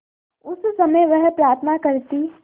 उस समय वह प्रार्थना करती